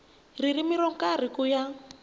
ririmi ro karhi ku ya